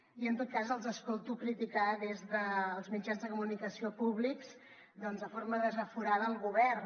i en tot cas els escolto criticar des dels mitjans de comunicació públics de forma desaforada el govern